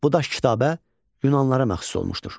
Bu daş kitabə Yunanlılara məxsus olmuşdur.